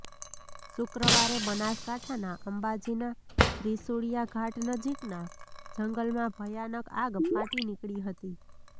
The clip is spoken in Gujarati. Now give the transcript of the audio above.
શુક્રવારે બનાસકાંઠાના અંબાજીના ત્રિશુળિયા ઘાટ નજીકના જંગલમાં ભયાનક આગ ફાટી નીકળી હતી